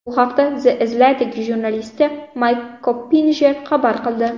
Bu haqda The Athletic jurnalisti Mayk Koppinjer xabar qildi .